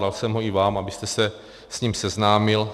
Dal jsem ho i vám, abyste se s ním seznámil.